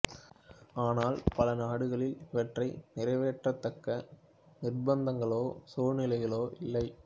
ஆனால் பல நாடுகளில் இவற்றை நிறைவேற்றதக்க நிர்பந்தங்களோ சூழ்நிலைகளோ இல்லை